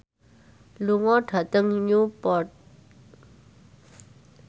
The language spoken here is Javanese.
lunga dhateng Newport